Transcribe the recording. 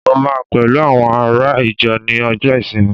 mo ma pẹlu awọn ará ìjọ Ni ọjọ isinmi